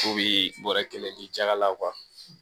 Fo bi bɔrɔ kelen di jaga la